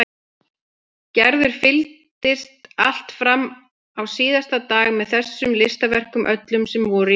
Gerður fylgdist allt fram á síðasta dag með þessum listaverkum öllum sem voru í vinnslu.